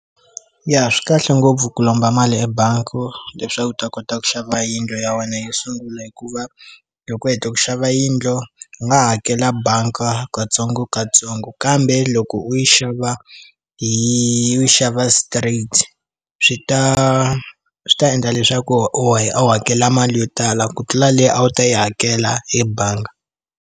Ya swikahle ngopfu ku lomba mali ebangi leswaku u ta kota ku xava yindlu ya wena yo sungula hikuva loko heta ku xava yindlu i nga hakela banga katsongokatsongo kambe loko u yi xava hi xava straight swi ta swi ta endla leswaku u wa hi a wu hakela mali yo tala ku tlula leyi a wu ta yi hakela hi bangi.